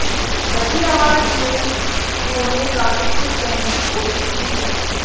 दबी आवाज में उन्होंने काफी कुछ कहने की कोशिश की है